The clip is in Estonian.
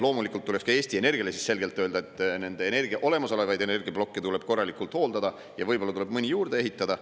Loomulikult tuleks ka Eesti Energiale siis selgelt öelda, et nende olemasolevaid energiaplokke tuleb korralikult hooldada ja võib-olla tuleb mõni juurde ehitada.